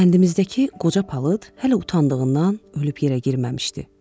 Kəndimizdəki qoca palıd hələ utandığından ölüb yerə girməmişdi.